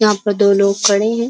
यहाँ पर दो लोग खड़े हैं।